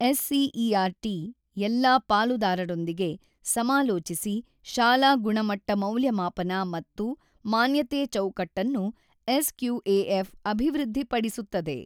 SCERT ಎಲ್ಲಾ ಪಾಲುದಾರರೊಂದಿಗೆ ಸಮಾಲೋಚಸಿ ಶಾಲಾ ಗುಣಮಟ್ಟ ಮೌಲ್ಯಮಾಪನ ಮತ್ತು ಮಾನ್ಯತೆ ಚೌಕಟ್ಟನ್ನು ಎಸ್.ಕ್ಯೂ.ಎ.ಎಫ್ ಅಭಿವೃದ್ಧಿಪಡಿಸುತ್ತದೆ.